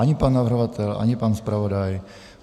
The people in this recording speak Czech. Ani pan navrhovatel, ani pan zpravodaj.